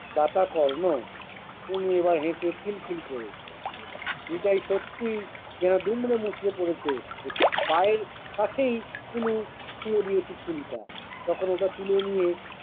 দাতাকর্ণ! ওমনি ওরা হেসে খিল খিল করে। নিতাই সত্যি গা দুমড়ে মুছড়ে পরেছে। একটি গাঁয়ের কাছেই কুনু ছুঁড়ে দিয়েছে ছুরিটা। তখন ওটা তুলে নিয়ে-